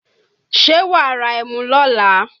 Ṣé wàá ra ẹmu lọ́la?